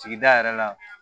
Sigida yɛrɛ la